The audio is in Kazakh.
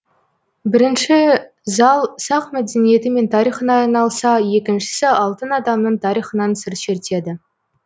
бірінші зал сақ мәдениеті мен тарихына айналса екіншісі алтын адамның тарихынан сыр шертеді